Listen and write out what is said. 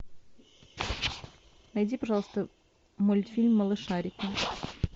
найди пожалуйста мультфильм малышарики